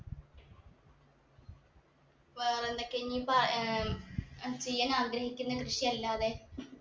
വേറെന്തൊക്കെയാ ഇനീപ്പോ ഉം ഏർ ചെയ്യാനാഗ്രഹിക്കുന്നെ കൃഷിയല്ലാതെ